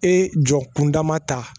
E jɔ kunda ma ta